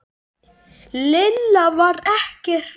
Lilla var ekkert hrædd.